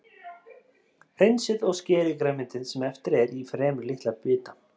Hreinsið og skerið grænmetið sem eftir er í fremur litla bita.